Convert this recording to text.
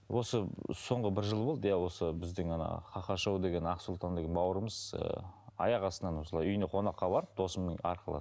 осы соңғы бір жыл болды иә осы біздің ана ха ха шоу деген ақсұлтан деген бауырымыз ыыы аяқ астынан осылай үйіне қонаққа барып досымның арқылы